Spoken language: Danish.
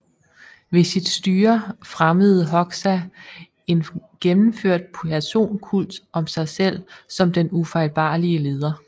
Ved sit styre fremmede Hoxha en gennemført personkult om sig selv som den ufejlbarlige leder